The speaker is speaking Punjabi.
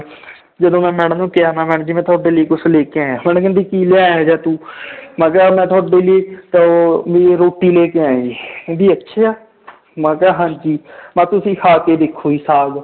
ਜਦੋਂ ਮੈਂ madam ਨੂੰ ਕਿਹਾ ਮੈਂ madam ਜੀ ਤੁਹਾਡੇ ਲਈ ਕੁਛ ਲੈ ਕੇ ਆਇਆਂ madam ਕਹਿੰਦੀ ਕੀ ਲਿਆਇਆ ਇਹ ਜਿਹਾ ਤੂੰ ਮੈਂ ਕਿਹਾ ਮੈਂ ਤੁਹਾਡੇ ਲਈ ਤਾਂ ਉਹ ਵੀ ਰੋਟੀ ਲੈ ਕੇ ਆਇਆ ਜੀ ਕਹਿੰਦੀ ਅੱਛਾ ਮੈਂ ਕਿਹਾ ਹਾਂਜੀ ਮੈਂ ਕਿਹਾ ਤੁਸੀਂ ਖਾ ਕੇ ਦੇਖੋ ਜੀ ਸਾਘ